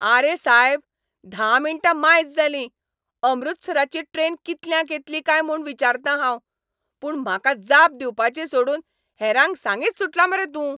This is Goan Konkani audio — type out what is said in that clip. आरे सायब, धा मिण्टां मायज जाली, अमृतसराची ट्रेन कितल्यांक येतली काय म्हूण विचारता हांव, पूण म्हाका जाप दिवपाची सोडून हेरांक सांगीत सुटला मरे तूं.